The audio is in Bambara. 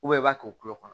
i b'a to kulo kɔnɔ